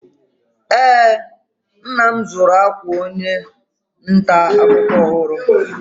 Eé, nna m zụrụ akwa onye nta akụkọ ọhụrụ.